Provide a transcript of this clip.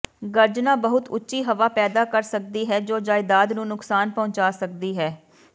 ਗਰਜਨਾ ਬਹੁਤ ਉੱਚੀ ਹਵਾ ਪੈਦਾ ਕਰ ਸਕਦੀ ਹੈ ਜੋ ਜਾਇਦਾਦ ਨੂੰ ਨੁਕਸਾਨ ਪਹੁੰਚਾ ਸਕਦੀ ਹੈ